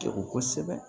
Degun kosɛbɛ